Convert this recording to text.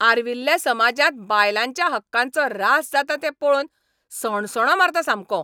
आर्विल्ल्या समाजांत बायलांच्या हक्कांचो रास जाता तें पळोवन सणसणो मारता सामको.